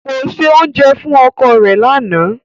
Ko se ounjẹ fun oko re lana.